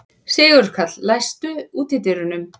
Sigurkarl, læstu útidyrunum.